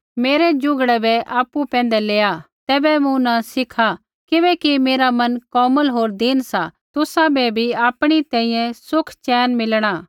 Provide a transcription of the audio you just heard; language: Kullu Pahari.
मेरै जुगड़ै बै आपु पैंधै लेआ तैबै मूँ न सिखात् किबैकि मेरा मन कोमल होर दीन सा तुसाबै बी आपणी तैंईंयैं सुख चैन मिलणा